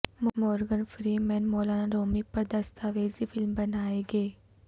Morgan Freeman مولانا رومی پر دستاویزی فلم بنائیں گے